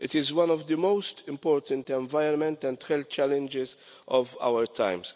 It is one of the most important environmental and health challenges of our time.